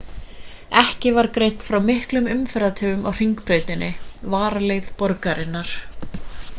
ekki var greint frá miklum umferðartöfum á hringbrautinni varaleið borgarinnar